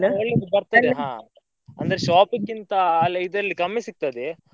ಒಳ್ಳೇದು ಬರ್ತದೆ ಹಾ ಅಂದ್ರೆ shop ಕ್ಕಿಂತಾ ಅಲ್ಲ ಇದ್ರಲ್ಲಿ ಕಮ್ಮಿ ಸಿಗ್ತದೆ.